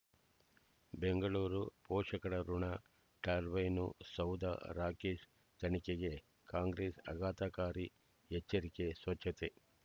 ಬೆಂಗಳೂರು ಪೋಷಕರಋಣ ಟರ್ಬೈನು ಸೌಧ ರಾಕೇಶ್ ತನಿಖೆಗೆ ಕಾಂಗ್ರೆಸ್ ಆಘಾತಕಾರಿ ಎಚ್ಚರಿಕೆ ಸ್ವಚ್ಛತೆ